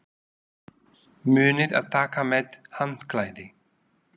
Munið að taka með handklæði!